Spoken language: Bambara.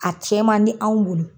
A cɛn man di anw bolo